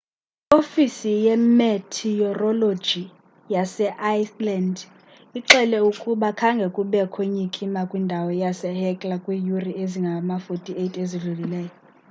iofisi ye-meteorologyyase iceland ixele ukuba khange kubekho nyikima kwindawo yasehekla kwiiyure ezingama-48 ezidlulileyo